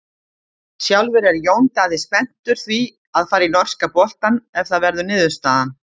Sjálfur er Jón Daði spenntur því að fara í norska boltann ef það verður niðurstaðan.